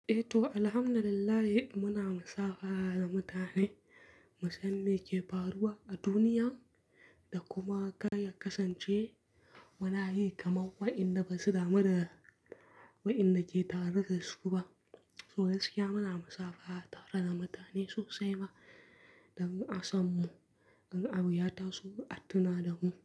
Eh to, Alhamdulillah muna musafaha da mutane, musamme ke faruwa a duniya da kuma kar ya kasance muna yi kamar waƴanda basu damu da, waƴanda ke tare da su ba. So gaskiya muna musafaha tare da mutane sosai ma, domin asan mu, in abuyata so, atuna da mu.